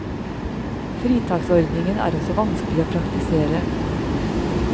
Fritaksordningen er også vanskelig å praktisere.